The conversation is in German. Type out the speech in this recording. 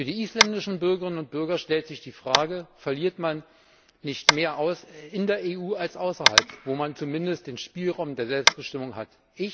Für die isländischen Bürgerinnen und Bürger stellt sich die Frage Verliert man nicht mehr in der EU als außerhalb, wo man zumindest den Spielraum der Selbstbestimmung hat?